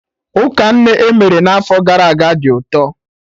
Ụka nne emere n'afọ gara aga dị ụtọ